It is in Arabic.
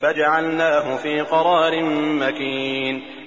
فَجَعَلْنَاهُ فِي قَرَارٍ مَّكِينٍ